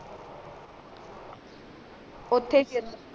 ਉਥੇ ਸੀ